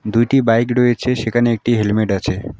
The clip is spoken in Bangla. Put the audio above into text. দুইটি বাইক রয়েছে সেকানে একটি হেলমেট আছে।